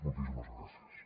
moltíssimes gràcies